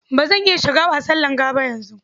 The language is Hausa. Ba zan iya shiga wasan langa ba yanzu.